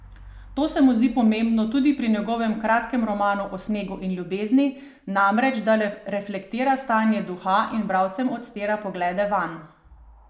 To se mu zdi pomembno tudi pri njegovem Kratkem romanu o snegu in ljubezni, namreč da reflektira stanje duha in bralcem odstira poglede vanj.